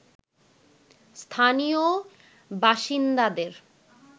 স্থানীয় বাসিন্দাদের